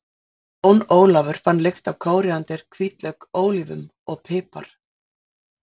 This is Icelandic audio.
Jón Ólafur fann lykt af kóríander, hvítlauk, ólívum og pipar.